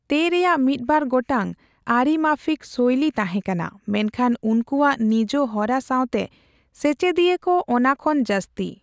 ᱛᱮᱼ ᱨᱮᱭᱟᱜ ᱢᱤᱫᱵᱟᱨ ᱜᱚᱴᱟᱝ ᱟᱹᱨᱤ ᱢᱟᱯᱷᱤᱠ ᱥᱳᱭᱞᱤ ᱛᱟᱦᱮᱸ ᱠᱟᱱᱟ ᱢᱮᱱᱠᱷᱟᱱ ᱩᱱᱠᱩᱣᱟᱜ ᱱᱤᱡ ᱦᱚᱨᱟ ᱥᱟᱣᱛᱮ ᱥᱮᱪᱮᱫᱤᱭᱟᱹ ᱠᱚ ᱚᱱᱟ ᱠᱷᱚᱱ ᱡᱟᱹᱥᱛᱤ ᱾